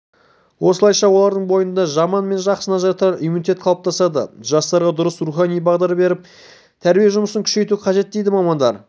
осылайша олардың бойында жаман мен жақсыны ажыратар иммунитет қалыптасады жастарға дұрыс рухани бағдар беріп тәрбие жұмысын күшейту қажет дейді мамандар